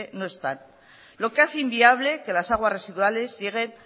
no están lo que hace inviable que las aguas residuales lleguen